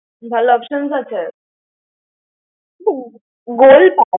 ভালো options আছে। দুর গোল ।